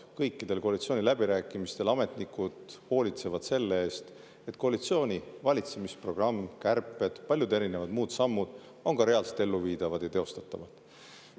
Kõikidel koalitsiooniläbirääkimistel ametnikud hoolitsevad selle eest, et koalitsiooni valitsemisprogramm, kärped, paljud muud sammud on ka reaalselt elluviidavad ja teostatavad.